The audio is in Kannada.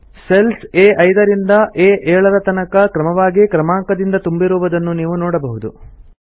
ಸೆಲ್ಸ್ ಆ5 ರಿಂದ ಆ7 ತನಕ ಕ್ರಮವಾಗಿ ಕ್ರಮಾಂಕದಿಂದ ತುಂಬಿರುವುದನ್ನು ನೀವು ನೋಡಬಹುದು